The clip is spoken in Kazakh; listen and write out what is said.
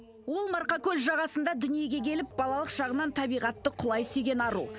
ол марқакөл жағасында дүниеге келіп балалық шағынан табиғатты құлай сүйген ару